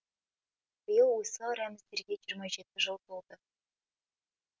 биыл осы рәміздерге жиырма жеті жыл толды